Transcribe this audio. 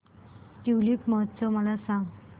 tulip महोत्सव मला सांग